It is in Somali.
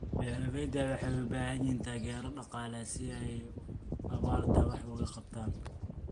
Beeralayda waxay u baahan yihiin taageero dhaqaale si ay abaarta wax uga qabtaan.